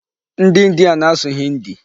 Ndị India na-asụ 'Hindi'.